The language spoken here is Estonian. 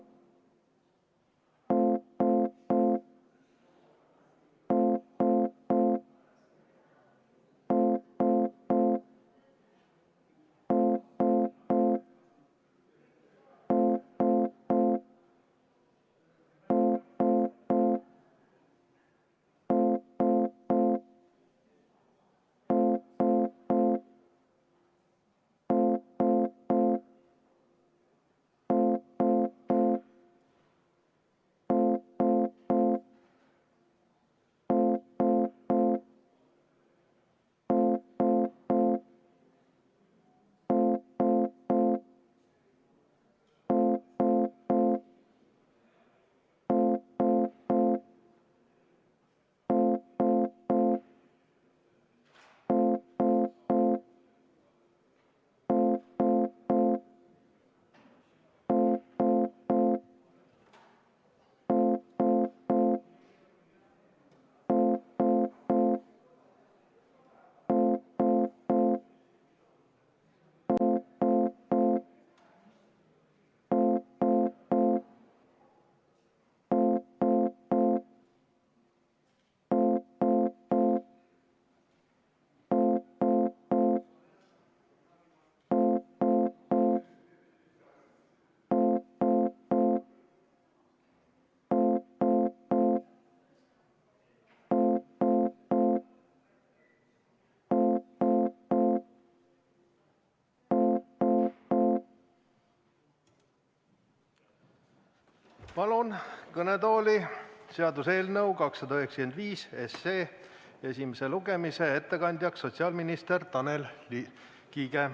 Palun kõnetooli seaduseelnõu 295 esimese lugemise ettekandjaks sotsiaalminister Tanel Kiige.